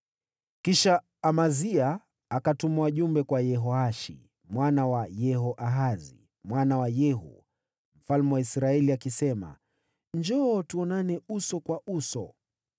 Kisha Amazia akatuma wajumbe kwa Yehoashi mwana wa Yehoahazi, mwana wa Yehu, mfalme wa Israeli, akisema, “Njoo, tuonane uso kwa uso.”